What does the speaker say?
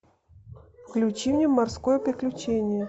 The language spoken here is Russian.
включи мне морское приключение